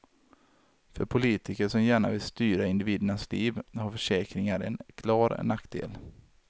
För politiker som gärna vill styra individernas liv har försäkringar en klar nackdel.